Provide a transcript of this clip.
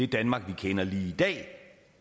danmark vi kender lige i dag